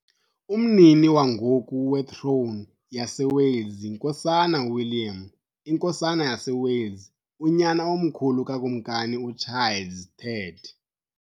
Umnini wangoku wetrone yaseWales yiNkosana uWilliam, iNkosana yaseWales, unyana omkhulu kaKumkani uCharles III .